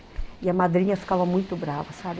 E a madrinha ficava muito brava, sabe?